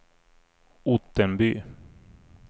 Ottenby